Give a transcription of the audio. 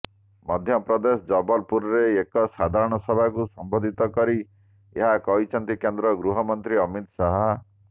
ମଧ୍ୟପ୍ରଦେଶ ଜବଲପୁରରେ ଏକ ସାଧାରଣ ସଭାକୁ ସମ୍ବୋଧିତ କରି ଏହା କହିଛନ୍ତି କେନ୍ଦ୍ର ଗୃହ ମନ୍ତ୍ରୀ ଅମିତ ଶାହ